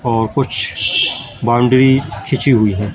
और कुछ बाउंड्री खींची हुई है।